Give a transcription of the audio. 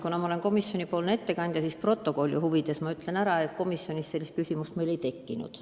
Kuna ma olen komisjoni ettekandja, siis ma stenogrammi huvides ütlen, et komisjonis sellist küsimust ei tekkinud.